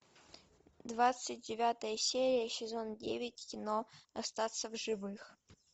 двадцать девятая серия сезон девять кино остаться в живых